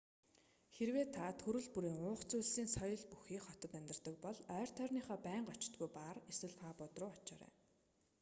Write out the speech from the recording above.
хэрэв та төрөл бүрийн уух зүйлсийн соёл бүхий хотод амьдардаг бол ойр тойрныхоо байнга очдоггүй баар эсвэл пабууд руу очоорой